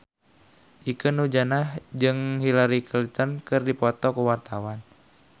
Ikke Nurjanah jeung Hillary Clinton keur dipoto ku wartawan